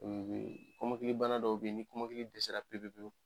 kɔmɔkili bana dɔw bɛ yen ni kɔmɔkili dɛsɛ pewu pewu pewu